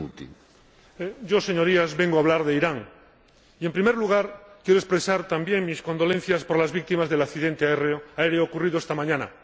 Señor Presidente, Señorías, vengo a hablar de Irán y, en primer lugar, quiero expresar también mis condolencias por las víctimas del accidente aéreo ocurrido esta mañana.